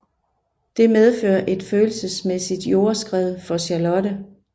Det medfører et følelsesmæssigt jordskred for Charlotte